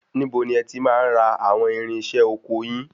Níbo ni ẹ ti máa ń ra àwọn irinṣẹ́ ọkọ yin?